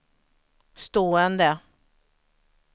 stående